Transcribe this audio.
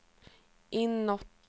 inåt